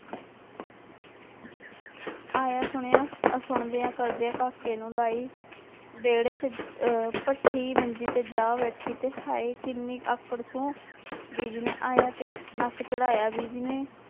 ਆਇਆ ਸੁਣਿਆ ਸੁਣਦਿਆਂ ਕਰਦਿਆਂ ਕਾਕੇ ਨੂੰ ਲਾਈ ਵਿਹੜੇ ਚ ਅਹ ਭੱਠੀ ਮੰਜੀ ਤੇ ਜਾ ਬੈਠੀ ਤੇ ਹਾਏ ਕਿੰਨੀ ਆਕੜ ਸੂੰ ਬੀਜੀ ਨੇ ਆਇਆਂ ਤੇ ਨੱਕ ਚੜਾਇਆ ਬੀਜੀ ਨੇ,